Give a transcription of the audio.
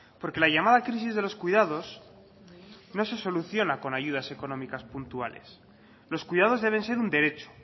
porque la llamada crisis de los cuidados no se soluciona con ayudas económicas puntuales los cuidados deben ser un derecho